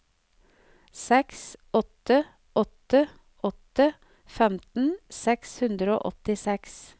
seks åtte åtte åtte femten seks hundre og åttiseks